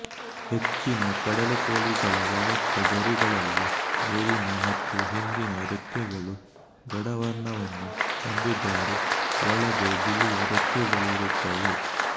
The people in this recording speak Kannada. ಹೆಚ್ಚಿನ ಕಡಲುಕೋಳಿಗಳ ವಯಸ್ಕ ಗರಿಗಳಲ್ಲಿ ಮೇಲಿನ ಮತ್ತು ಹಿಂದಿನ ರೆಕ್ಕೆಗಳು ಗಾಢವರ್ಣವನ್ನು ಹೊಂದಿದ್ದರೆ ಒಳಗೆ ಬಿಳಿಯ ರೆಕ್ಕೆಗಳಿರುತ್ತವೆ